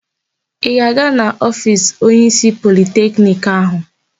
Ị ga-aga n'ofiisi onyeísí Politekniki anyị?